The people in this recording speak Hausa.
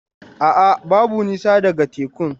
A'a, babu nisa daga tekun.